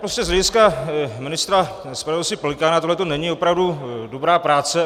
Prostě z hlediska ministra spravedlnosti Pelikána tohle není opravdu dobrá práce.